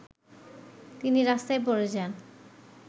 তিনি রাস্তায় পড়ে যান